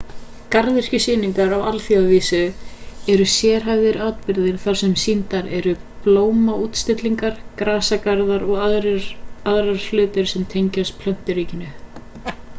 garðyrkjusýningar á alþjóðavísu eru sérhæfðir atburðir þar sem sýndar eru blómaútstillingar grasagarðar og aðrir hlutir sem tengjast plönturíkinu